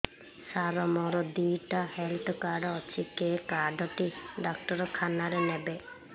ସାର ମୋର ଦିଇଟା health card ଅଛି କେ କାର୍ଡ ଟି ଡାକ୍ତରଖାନା ରେ ନେବେ